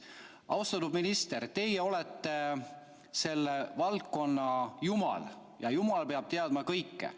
Austatud minister, teie olete selle valdkonna jumal ja jumal peab teadma kõike.